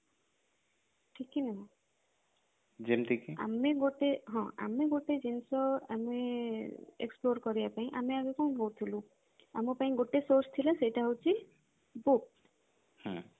ହଁ ଆମେ ଗୋଟେ ଆମେ ଗୋଟେ ଜିନିଷ ଆମେ explore କରିବା ପାଇଁ ଆମେ ଆଗ କଣ କରୁଥିଲୁ ଆମ ପାଇଁ ଗୋଟେ source ଥିଲା ସେଇଟା ହଉଛି book